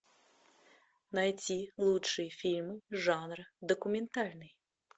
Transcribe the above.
найти лучшие фильмы жанра документальный